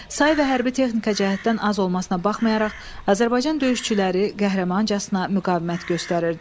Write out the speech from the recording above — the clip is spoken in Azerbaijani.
Say və hərbi texnika cəhətdən az olmasına baxmayaraq, Azərbaycan döyüşçüləri qəhrəmancasına müqavimət göstərirdi.